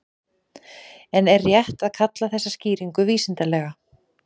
En er rétt að kalla þessa skýringu vísindalega?